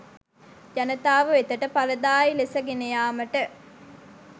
ජනතාව වෙතට ඵලදායි ලෙස ගෙනයාමට